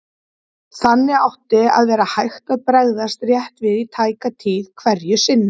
Þannig átti að vera hægt að bregðast rétt við í tæka tíð hverju sinni.